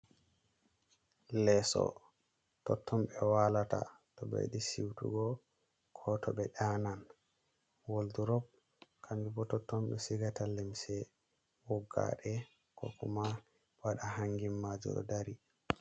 Leso totton ɓe walata to ɓe yiɗi siutugo ko to ɓe ɗanan woldurop kanjum bo totton ɓe sigata lemse woggaɗe kokuma waɗa hangin majum ɗo dari.